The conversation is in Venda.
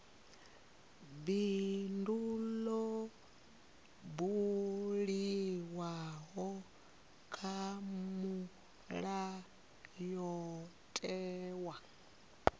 bindu ḽo buliwaho kha mulayotewa